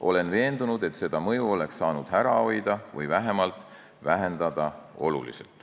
Olen veendunud, et seda mõju oleks saanud ära hoida või vähemalt oluliselt vähendada.